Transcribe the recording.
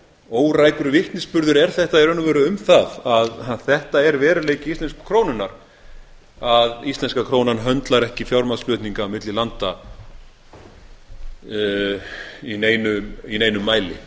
órækur vitnisburður er þetta í raun og veru um það að þetta er veruleiki íslensku krónunnar að íslenska krónan höndlar ekki fjármagnsflutninga milli landa í neinum mæli